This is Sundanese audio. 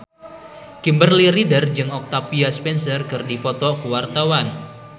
Kimberly Ryder jeung Octavia Spencer keur dipoto ku wartawan